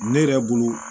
Ne yɛrɛ bolo